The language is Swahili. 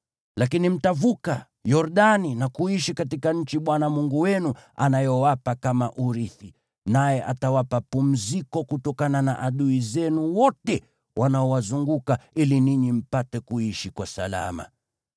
Lakini mtavuka Yordani na kuishi katika nchi Bwana Mungu wenu anayowapa kama urithi, naye atawapa pumziko kutokana na adui zenu wote wanaowazunguka ili ninyi mpate kuishi kwa salama.